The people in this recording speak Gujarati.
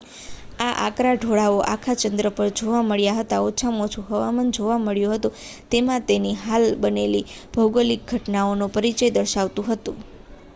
આ આકરા ઢોળાવો આખા ચંદ્ર પર જોવા મળ્યા હતા અને ઓછામાં ઓછુ હવામાન જોવા મળ્યું હતું જેમાં તેની હાલની બનેલી ભોગોલીક ઘટનાઓનો પરિચય દર્શાવતું હતું